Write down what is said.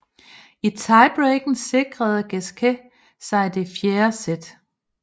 I tiebreaken sikrede Gasquet sig det fjerde sæt